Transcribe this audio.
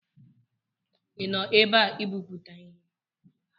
ị nọ ebe a ibipụta ihe?